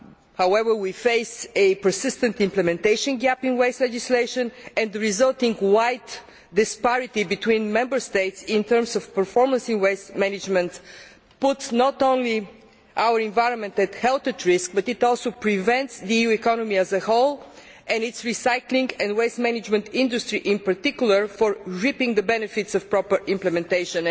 However, we face a persistent implementation gap in waste legislation and the resulting wide disparity between Member States in terms of performance in waste management not only puts our environment and health at risk but also prevents the EU economy as a whole, and its recycling and waste management industry in particular, from reaping the benefits of proper implementation.